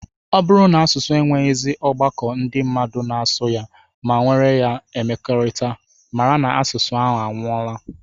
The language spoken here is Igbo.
Ọ bụrụ na asụsụ enweghịzi ọgbakọ ndị mmadụ na-asụ ya ma were ya emekọrịta, mara na asụsụ ahụ anwụọla